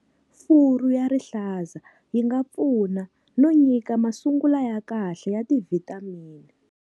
Furu ya rihlaza yi nga pfuna no nyika masungula ya kahle ya tivhitamini.